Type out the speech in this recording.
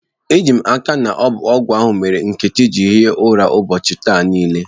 Ejim aka na ọbụ ọgwụ ahụ mere Nkechi jiri hie ụra ụbọọchi taa nile.